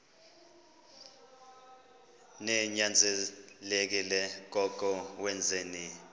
ninyanzelekile koko wenzeni